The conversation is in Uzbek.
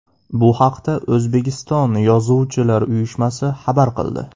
Bu haqda O‘zbekiston Yozuvchilar uyushmasi xabar qildi .